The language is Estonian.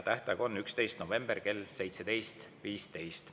Tähtaeg on 11. november kell 17.15.